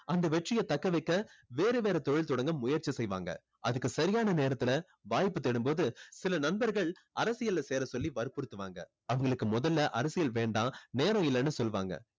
அந்த வெற்றியை தக்க வைக்க வேற வேற தொழில் தொடங்க முயற்சி செய்வாங்க. அதுக்கு சரியான நேரத்துல வாய்ப்பு தேடும்போது சில நண்பர்கள் அரசியல்ல சேர சொல்லி வற்புறுத்துவாங்க. அவங்களுக்கு முதல்ல அரசியல் வேண்டாம் நேரமில்லன்னு சொல்லுவாங்க.